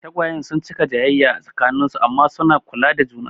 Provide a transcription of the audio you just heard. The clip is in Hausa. Tagwayen sun cika jayayya a tsakanin su amma suna kula da juna.